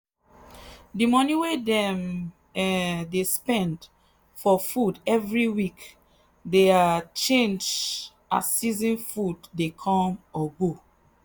the money wey dem um dey spend for food every week dey um change as season food dey come or go.